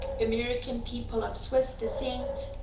american people of swiss descent